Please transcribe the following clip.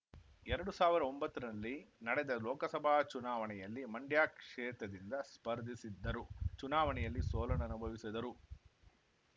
ಎರಡು ಸಾವಿರದ ಒಂಬತ್ತರಲ್ಲಿ ನಡೆದ ಲೋಕಸಭಾ ಚುನಾವಣೆಯಲ್ಲಿ ಮಂಡ್ಯ ಕ್ಷೇತ್ರದಿಂದ ಸ್ಪರ್ಧಿಸಿದ್ದರು ಚುನಾವಣೆಯಲ್ಲಿ ಸೋಲನುಭವಿಸಿದರು